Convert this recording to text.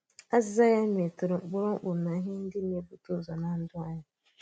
Àzị̀zà ya mètùrụ̀ ụ̀kpụrụ̀ ụ̀kpụrụ̀ na íhè ndị na-ebùtè̄ ụzọ̀ nà ndụ́ anyị.